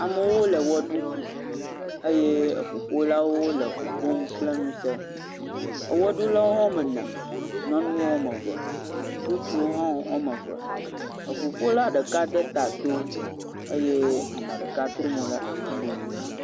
Amewo le ewɔ ɖum eye eŋuƒolawo le ŋu ƒom kple ŋusẽ. Ewɔɖulawo hã woame ene nyɔnuwo woame eve, ŋutsuwo hã woame eve eŋuƒola ɖeka de ta to eye ae ɖeka hã trɔ mo ɖe afi bubu.